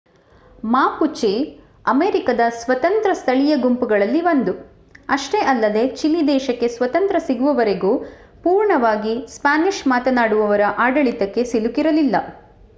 Mapuche ಅಮೆರಿಕಾದ ಸ್ವತಂತ್ರ ಸ್ಥಳೀಯ ಗುಂಪುಗಳಲ್ಲಿ ಒಂದು ಅಷ್ಟೇ ಅಲ್ಲದೆ ಚಿಲಿ ದೇಶಕ್ಕೆ ಸ್ವತಂತ್ರ ಸಿಗುವವರೆಗೂ ಪೂರ್ಣವಾಗಿ ಸ್ಪ್ಯಾನಿಷ್ ಮಾತನಾಡುವವರ ಆಡಳಿತಕ್ಕೆ ಸಿಲುಕಿರಲಿಲ್ಲ